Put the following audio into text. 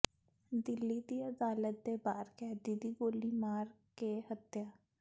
ਦਿੱਲੀ ਦੀ ਅਦਾਲਤ ਦੇ ਬਾਹਰ ਕੈਦੀ ਦੀ ਗੋਲੀ ਮਾਰ ਕੇ ਹੱਤਿਆ